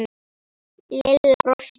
Lilla brosti.